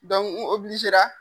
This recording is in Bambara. n .